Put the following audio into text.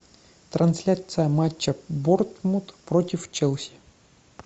трансляция матча борнмут против челси